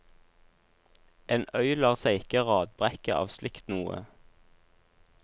En øy lar seg ikke radbrekke av slikt noe.